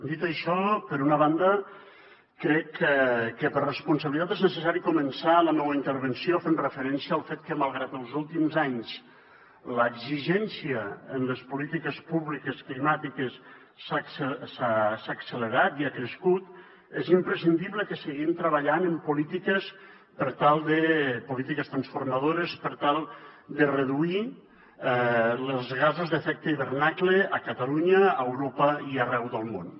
dit això per una banda crec que per responsabilitat és necessari començar la meua intervenció fent referència al fet que malgrat que els últims anys l’exigència en les polítiques públiques climàtiques s’ha accelerat i ha crescut és imprescindible que seguim treballant en polítiques transformadores per tal de reduir els gasos d’efecte hivernacle a catalunya a europa i arreu del món